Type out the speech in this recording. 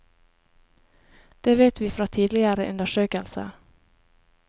Det vet vi fra tidligere undersøkelser.